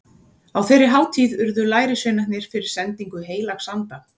Á þeirri hátíð urðu lærisveinarnir fyrir sendingu heilags anda.